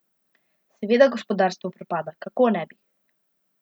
Seveda gospodarstvo propada, kako ne bi.